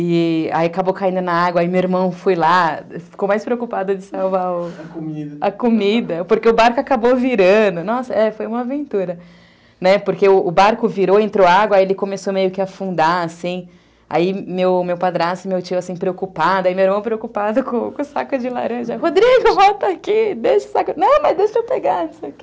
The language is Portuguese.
E... e aí acabou caindo na água, aí meu irmão foi lá, ficou mais preocupado de salvar a comida, porque o barco acabou virando, nossa, é, foi uma aventura, né, porque o barco virou, entrou água, aí ele começou meio que a afundar, assim, aí meu meu padrasto, meu tio, assim, preocupado, aí meu irmão preocupado com o saco de laranja, Rodrigo, volta aqui, deixa o saco, não, mas deixa eu pegar isso aqui.